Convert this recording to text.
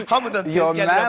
Hamıdan tez gəlirəm.